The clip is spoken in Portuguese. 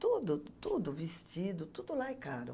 Tudo, tudo, vestido, tudo lá é caro.